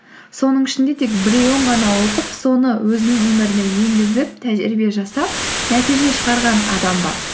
соның ішінде тек біреуін ғана оқып соны өзінің өміріне енгізіп тәжірибе жасап нәтиже шығарған адам бар